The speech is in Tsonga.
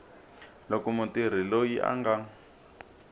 loko mutirhi loyi a nga